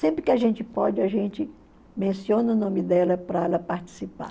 Sempre que a gente pode, a gente menciona o nome dela para ela participar.